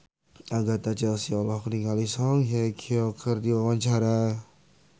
Agatha Chelsea olohok ningali Song Hye Kyo keur diwawancara